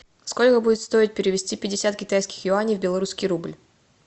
сколько будет стоить перевести пятьдесят китайских юаней в белорусский рубль